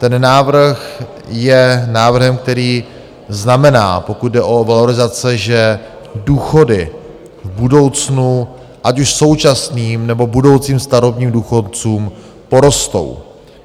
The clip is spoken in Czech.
Ten návrh je návrhem, který znamená, pokud jde o valorizace, že důchody v budoucnu ať už současným, nebo budoucím starobním důchodcům porostou.